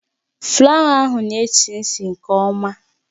Flawa ahụ na-esi ísì nke ọma